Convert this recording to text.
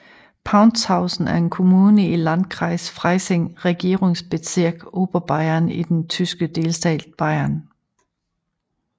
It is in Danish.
Paunzhausen er en kommune i Landkreis Freising Regierungsbezirk Oberbayern i den tyske delstat Bayern